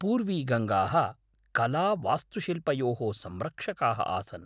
पूर्वीगङ्गाः कलावास्तुशिल्पयोः संरक्षकाः आसन्।